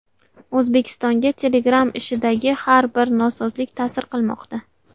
O‘zbekistonga Telegram ishidagi har bir nosozlik ta’sir qilmoqda.